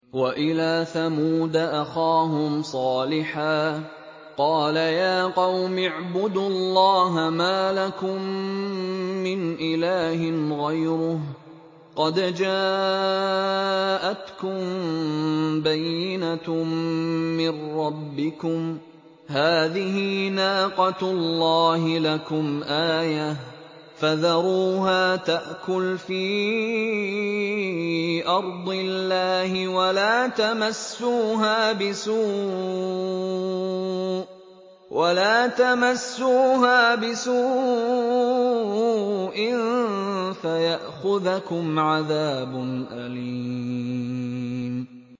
وَإِلَىٰ ثَمُودَ أَخَاهُمْ صَالِحًا ۗ قَالَ يَا قَوْمِ اعْبُدُوا اللَّهَ مَا لَكُم مِّنْ إِلَٰهٍ غَيْرُهُ ۖ قَدْ جَاءَتْكُم بَيِّنَةٌ مِّن رَّبِّكُمْ ۖ هَٰذِهِ نَاقَةُ اللَّهِ لَكُمْ آيَةً ۖ فَذَرُوهَا تَأْكُلْ فِي أَرْضِ اللَّهِ ۖ وَلَا تَمَسُّوهَا بِسُوءٍ فَيَأْخُذَكُمْ عَذَابٌ أَلِيمٌ